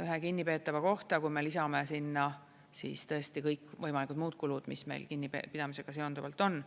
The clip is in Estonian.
ühe kinnipeetava kohta, kui me lisame sinna siis tõesti kõik võimalikud muud kulud, mis meil kinnipidamisega seonduvalt on.